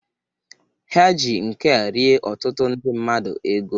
Ha ji nke a rie ọtụtụ ndị mmadụ ego.